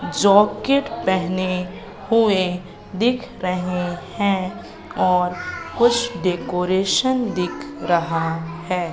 जोकिट पहने हुए दिख रहे हैं और कुछ डेकोरेशन दिख रहा है।